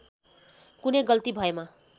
कुनै गल्ती भएमा